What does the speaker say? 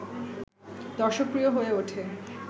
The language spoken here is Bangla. দর্শকপ্রিয় হয়ে ওঠে